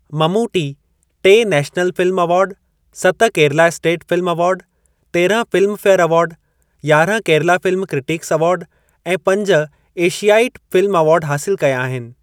ममूटी टे national film award, सत Kerala state film award, तेरहं फ़िल्म फे़यर अवार्ड, यारहं केरला फ़िल्म क्रिटिक्स अवार्ड ऐं पंज एशयाईट फ़िल्म अवार्ड हासिलु कया आहिनि।